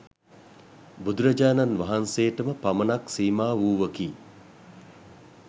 බුදුරජාණන් වහන්සේටම පමණක් සීමා වූවකි.